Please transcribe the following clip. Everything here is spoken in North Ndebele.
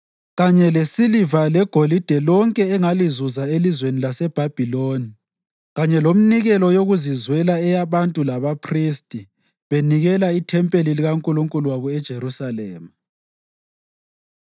kanye lesiliva legolide lonke ongalizuza elizweni laseBhabhiloni kanye leminikelo yokuzizwela eyabantu labaphristi benikelela ithempeli likaNkulunkulu wabo eJerusalema.